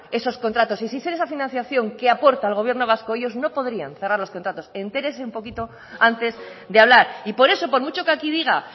esos contratos y sin ser esa financiación que aporta el gobierno vasco ellos no podrían cerrar los contratos entérese un poquito antes de hablar y por eso por mucho que aquí diga